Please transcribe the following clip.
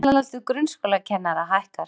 Meðalaldur grunnskólakennara hækkar